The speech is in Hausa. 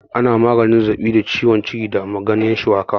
Ana magance zazzaɓi da ciwon ciki da ganyan shuwaka